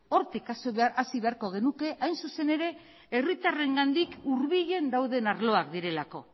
hortik hasi beharko genuke hain zuzen ere herritarrengandik hurbilen dauden arloak direlako